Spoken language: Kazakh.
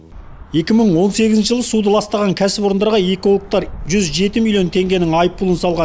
екі мың он сегізінші жылы суды ластаған кәсіпорындарға экологтар жүз жеті миллион теңгенің айыппұлын салған